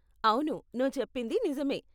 అవును, నువ్వు చెప్పింది నిజమే.